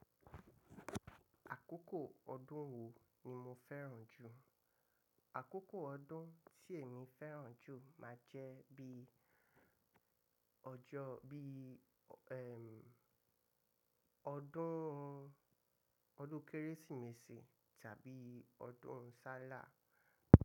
Àkókò ọdún wo ni mo fẹ́ràn jù? Àkókò ọdún tí èmi fẹ́ràn jù máa jẹ́ bí ọjọ́ bí, ẹm, ọdún, ọdún Kérésìmesì tàbí ọdún Ṣàláh.